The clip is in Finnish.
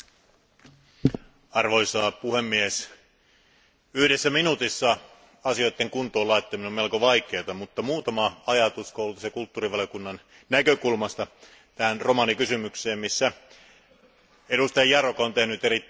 Arvoisa puhemies, yhdessä minuutissa asioiden kuntoon laittaminen on melko vaikeaa, mutta muutama ajatus kulttuuri ja koulutusvaliokunnan näkökulmasta tähän romanikysymykseen, missä edustaja Járóka on tehnyt erittäin hyvää työtä.